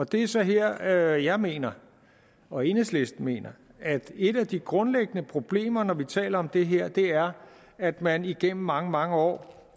det er så her at jeg mener og enhedslisten mener at et af de grundlæggende problemer når vi taler om det her er at man igennem mange mange år